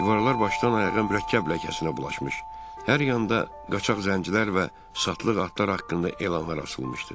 Divarlar başdan ayağa mürəkkəblə ləkəsinə bulaşmış, hər yanda qaçaq zəncirlər və satlıq atlar haqqında elanlar asılmışdı.